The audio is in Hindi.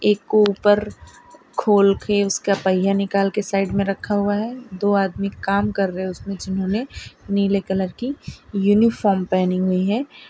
एक ऊपर खोल के उसका पहिया निकल के साइड में रखा हुआ है दो आदमी काम कर रहे हैं उसमें जिन्होंने नीले कलर की यूनिफॉर्म पहनी हुई है।